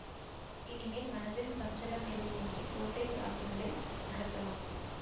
இனிமேல் மனதில் சஞ்சலம் எதுவுமின்றிக் கோட்டை தாக்குதலை நடத்தலாம்